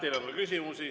Teile on ka küsimusi.